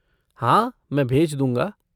हाँ, मैं भेज दूँगा।